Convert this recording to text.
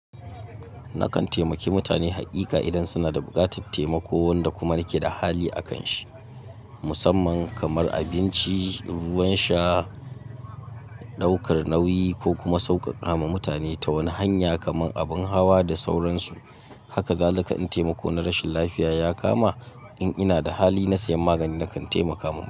Nakan taimaki mutane haƙiƙa idan suna da buƙatar taimako, wanda kuma nake da hali a kan shi, musamman kamar abinci, ruwan sha, ɗaukar nauyi ko kuma sauƙaƙa ma mutane ta wani hanya, kamar abin hawa da sauransu. Haka zalika in taimako na rashin lafiya ya kama, in inada hali na sayan magani, nakan taimaka mutum.